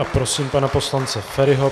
A prosím pana poslance Feriho.